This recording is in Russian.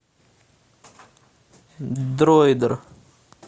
дройдер